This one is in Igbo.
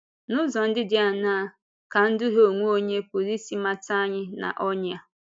N’ụzọ ndị dị áńàá ka ịdùhie onwe onye pụrụ isi mata anyị n’ọnyà?